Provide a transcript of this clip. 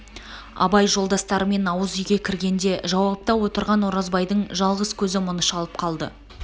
абай жолдастарымен ауыз үйге кіргенде жауапта отырған оразбайдың жалғыз көз мұны шалып қалды